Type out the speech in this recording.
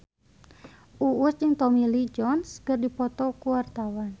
Uus jeung Tommy Lee Jones keur dipoto ku wartawan